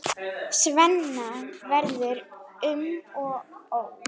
Svenna verður um og ó.